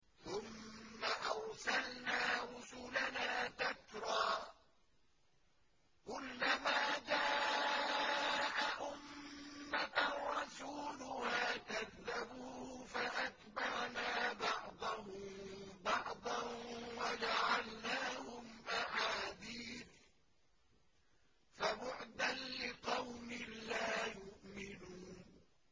ثُمَّ أَرْسَلْنَا رُسُلَنَا تَتْرَىٰ ۖ كُلَّ مَا جَاءَ أُمَّةً رَّسُولُهَا كَذَّبُوهُ ۚ فَأَتْبَعْنَا بَعْضَهُم بَعْضًا وَجَعَلْنَاهُمْ أَحَادِيثَ ۚ فَبُعْدًا لِّقَوْمٍ لَّا يُؤْمِنُونَ